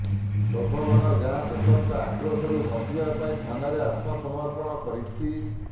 ସୋଭବନ ଗାଁ ଲୋକଙ୍କ ଆକ୍ରୋଶରୁ ବିଞ୍ଚିବା ପାଇଁ ଥାନାରେ ଆତ୍ମସମର୍ପଣ କରିଛି